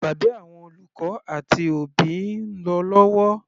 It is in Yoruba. Ìpàdé àwọn olùkọ́ àti òbí ń lọ lọ́wọ́.